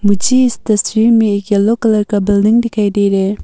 मुझे इस तस्वीर में एक यलो कलर का बिल्डिंग दिखाई दे रहा है।